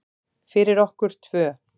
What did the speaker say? Fyrir okkur tvö.